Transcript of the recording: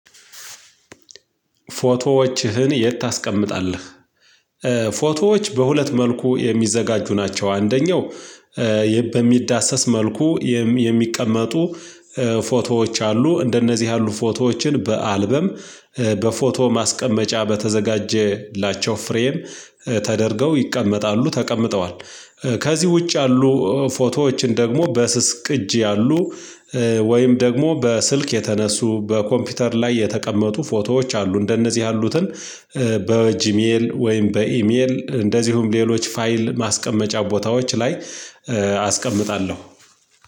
ፎቶዎችህን ዬት ታስቀምጣለህ? ፎቶዎች በሁለት መልኩ የሚዘጋጁ ናቸው። አንደኛው በሚዳሰስ መልኩ የሚቀመጡ ፎቶዎች አሉ እንደነዚህ ያሉ ፎቶዎችን በአልበም በፎቶ ማስቀመጫ በተዘጋጀላቸው ፍሬም ተደርገው ይቀመጣሉ ተቀምጠዋል። ከዚህ ውጭ ያሉ ፎቶዎችን ደግሞ በስስ ቅጅ ያሉ ወይም ደግሞ በስልክ የተነሱ በኮምፒውተር ላይ የተቀመጡ ፎቶዎች አሉ እንደነዚህ ያሉትን በ ጂሜይል ወይም በኢሜይል እንደዚሁም ሌሎች ፋይል ማስቀመጫ ቦታዎች ላይ አስቀምጣለው።